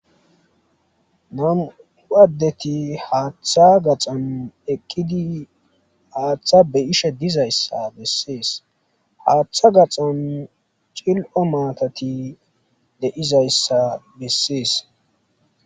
Nam'u addeti hatha gaxan eqidi hatha behshe dizzaysa besees hatha gaxan cil'o matati deyzayssa besees.